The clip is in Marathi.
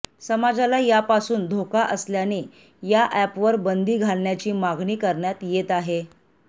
समाजाला यापासून धोका असल्याने या अॅपवर बंदी घालण्याची मागणी करण्यात येत आहे